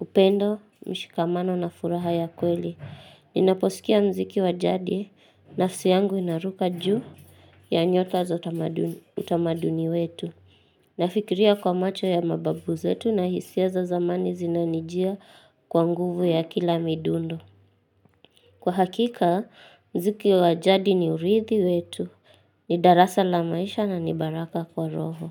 upendo, mshikamano na furaha ya kweli. Ninaposikia mziki wajadi, nafsi yangu inaruka juu ya nyota za utamaduni wetu. Nafikiria kwa macho ya mababu zetu na hisia za zamani zinanijia kwa nguvu ya kila midundo. Kwa hakika, mziki wajadi ni urithi wetu, ni darasa la maisha na ni baraka kwa roho.